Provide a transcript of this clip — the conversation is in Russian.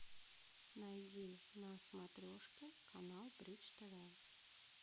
найди на смотрешке канал бридж тв